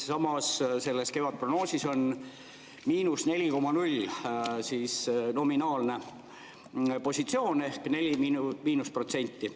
Samas, selles kevadprognoosis on –4,0 nominaalne positsioon ehk –4%.